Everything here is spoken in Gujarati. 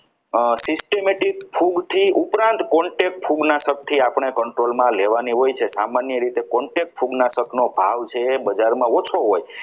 અમ systematic ખૂબ થી ઉપરાત contact control માં લેવાની હોય છે સામાન્ય રીતે contact પૂગના કીટનાશક નો ભાવ છે એ બજારમાં ઓછો હોય છે.